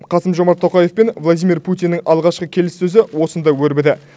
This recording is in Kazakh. қасым жомарт тоқаев пен владимир путиннің алғашқы келіссөзі осында өрбіді